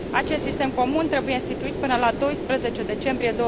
Acest sistem comun trebuie instituit până la 12 decembrie